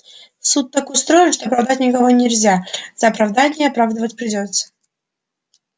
суд так устроен что оправдать никого нельзя за оправдание оправдывать придётся